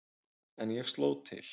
En ég sló til.